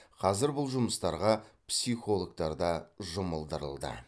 қазір бұл жұмыстарға психологтар да жұмылдырылды